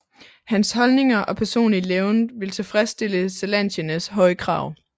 Hans holdninger og personlige levned ville tilfredstille zelantienes høje krav